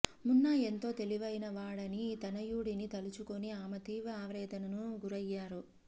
మున్నా ఎంతో తెలివై న వాడని తనయుడిని తలుచుకుని ఆమె తీవ్ర ఆవేద నకు గురయ్యారు